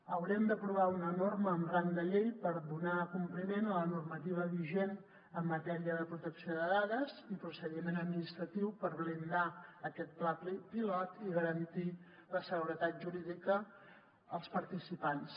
haurem d’aprovar una norma amb rang de llei per donar compliment a la normativa vigent en matèria de protecció de dades i procediment administratiu per blindar aquest pla pilot i garantir la seguretat jurídica als participants